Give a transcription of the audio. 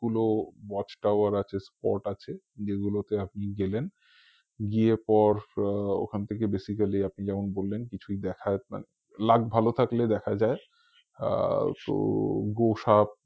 গুলো watch tower আছে spot আছে যেগুলোতে আপনি গেলেন গিয়ে পর আহ ওখান থেকে basically আপনি যেমন বললেন কিছুই দেখার মানে luck ভালো থাকলে দেখা যায় আর গো~গোসাপ